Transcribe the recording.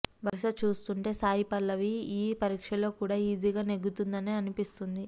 వరస చూస్తుంటే సాయిపలవి ఈ పరీక్షలో కూడా ఈజీగా నెగ్గుతుందనే అనిపిస్తుంది